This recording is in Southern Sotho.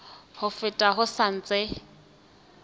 ha fela ho sa ntse